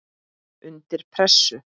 Undir pressu.